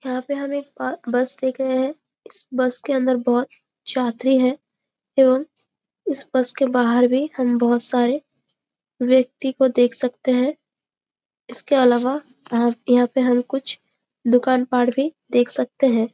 यहाँ पे हम एक पा बस देख रहे है इस बस के अंदर बहुत यात्री है एवं इस बस के बाहर भी हम बहोत सारे व्यक्ति को देख सकते है इसके अलावा यहाँ पे हम कुछ दुकान पाड भी देख सकते है।